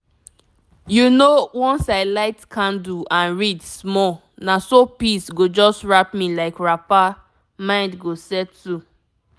you know once i light candle and read small na so peace go just wrap me like wrapper—mind go settle.